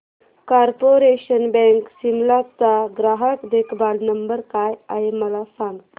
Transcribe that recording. corporation Bank Shimla चा ग्राहक देखभाल नंबर काय आहे मला सांग